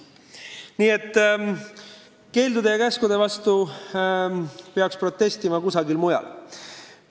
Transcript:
Nii et keeldude ja käskude vastu peaks protestima kusagil mujal.